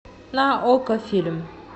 на окко фильм